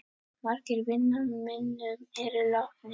Margir vina minna eru látnir.